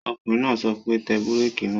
Ọkùnrin náà sọ pé, Tẹ bírèkì náà!